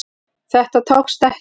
Þetta tókst ekki